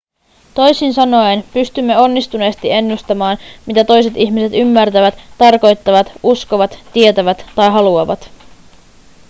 toisin sanoen pystymme onnistuneesti ennustamaan mitä toiset ihmiset ymmärtävät tarkoittavat uskovat tietävät tai haluavat